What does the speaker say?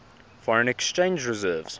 foreign exchange reserves